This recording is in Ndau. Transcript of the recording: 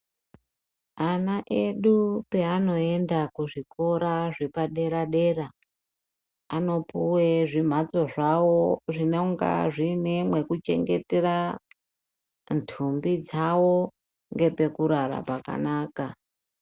Ana edu peanoenda kuzvikora zvepadera-dera, anopuwe zvimhatso zvavo zvinongana zvine mwekuchengetere ntumbi dzavo ngepekurara pakanaka.